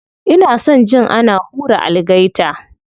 Ina son jin ana hura algaita.